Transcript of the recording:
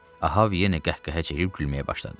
Ahav yenə qəhqəhə çəkib gülməyə başladı.